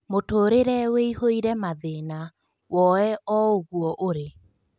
Mũtũrĩre ũihũire mathĩna; woye o ũguo ũrĩ.